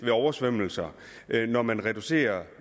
af oversvømmelser når man reducerede